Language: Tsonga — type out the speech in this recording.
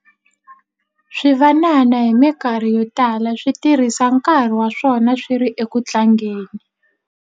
Swivanana hi mikarhi yo tala swi tirhisa nkarhi wa swona swi ri eku tlangeni.